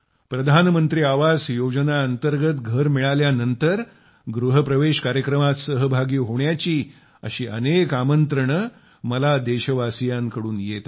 प्रधानमंत्री आवास योजना अंतर्गत घर मिळाल्यानंतर गृहप्रवेश कार्यक्रमात सहभागी होण्याची अशी अनेक आमंत्रणे सतत मला आमच्या देशवासियांकडून येत आहेत